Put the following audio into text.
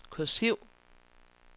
kursiv